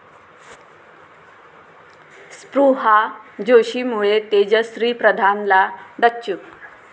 स्पृहा जोशीमुळे तेजश्री प्रधानला डच्चू